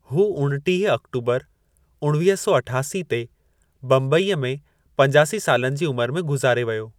हू उणिटीह आक्टूबर उणिवीह सौ अठासी ते बम्बईअ में पंजासी सालनि जी उमर में गुज़ारे वियो।